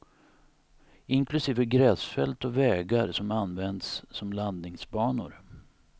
Inklusive gräsfält och vägar som används som landningsbanor.